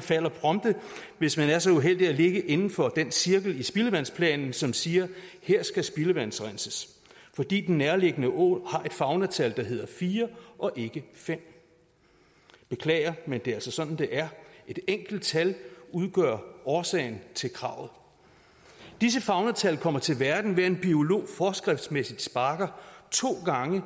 falder prompte hvis man er så uheldig at ligge inden for den cirkel i spildevandsplanen som siger her skal spildevandsrenses fordi den nærliggende å har et faunatal der hedder fire og ikke femte beklager men det er altså sådan det er et enkelt tal udgør årsagen til kravet disse faunatal kommer til verden ved at en biolog forskriftsmæssigt sparker to gange